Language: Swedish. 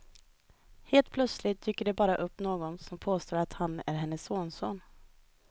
Helt plötsligt dyker det bara upp någon som påstår att han är hennes sonson.